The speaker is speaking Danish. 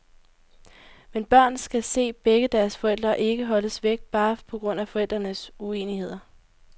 Men børn skal se begge deres forældre, og ikke holdes væk, bare på grund af forældrenes uenigheder.